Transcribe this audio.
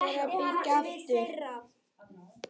Förum frekar að byggja aftur.